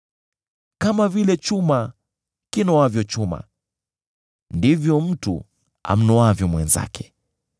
Kama vile chuma kinoavyo chuma, ndivyo mtu amnoavyo mwenzake.